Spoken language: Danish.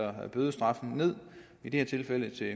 bødestraffen ned i det her tilfælde til